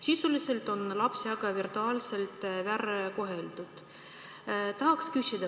Sisuliselt on lapsi virtuaalselt väärkoheldud.